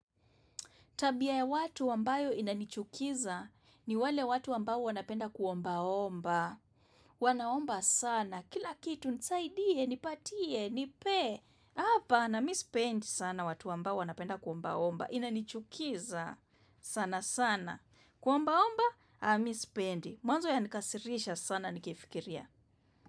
Tabia ya watu ambayo inanichukiza ni wale watu ambao wanapenda kuomba omba. Wanaomba sana. Kila kitu nisaidie, nipatie, nipee. Hapa, na mimi sipendi sana watu ambao wanapenda kuomba omba. Inanichukiza sana sana. Kuomba omba, mimi sipendi. Mwanzo ya nikasirisha sana nikifikiria.